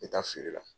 N bɛ taa feere la